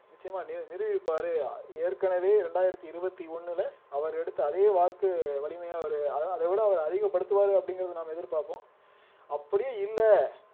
நிச்சயமா நி நிருபிப்பாரு ஏற்கனவே ரெண்டாயிரத்தி இருவத்தி ஒண்ணுல அவர் எடுத்த அதே வாக்கு வலிமையா அவரு அத அதை விட அவர் அதிகப்படுத்துவாரு அப்படிங்கிறதை நாம எதிர்பார்ப்போம் அப்படியும் இல்ல